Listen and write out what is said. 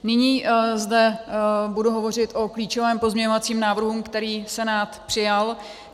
Nyní zde budu hovořit o klíčovém pozměňovacím návrhu, který Senát přijal.